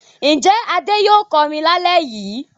Ǹjẹ́ Adé yóò kọrin lálẹ́ yìí?